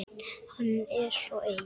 Hann er svo ein